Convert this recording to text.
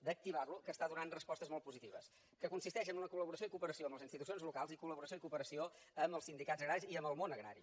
d’activar lo que està donant respostes molt positives que consisteix en una col·laboració i cooperació amb les institucions locals i col·laboració i cooperació amb els sindicats agraris i amb el món agrari